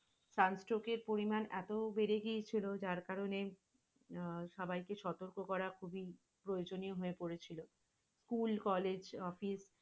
শ্বাস রোগের কারণ এত বেড়ে গিয়েছিল যার কারনে আহ সবাইকে সতর্ক করা খুবই প্রয়োজনীয় হয়ে পড়েছিল। scholl college আহ